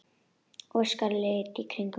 Óskar leit í kringum sig.